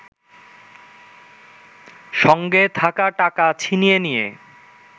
সঙ্গে থাকা টাকা ছিনিয়ে নিয়ে